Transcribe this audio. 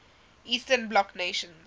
eastern bloc nations